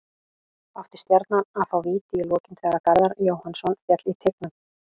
Átti Stjarnan að fá víti í lokin þegar Garðar Jóhannsson féll í teignum?